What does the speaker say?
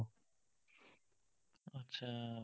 आतछा